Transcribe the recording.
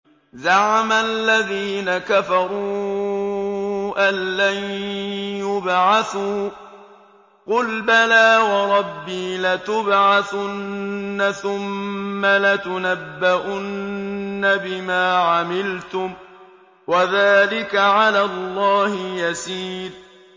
زَعَمَ الَّذِينَ كَفَرُوا أَن لَّن يُبْعَثُوا ۚ قُلْ بَلَىٰ وَرَبِّي لَتُبْعَثُنَّ ثُمَّ لَتُنَبَّؤُنَّ بِمَا عَمِلْتُمْ ۚ وَذَٰلِكَ عَلَى اللَّهِ يَسِيرٌ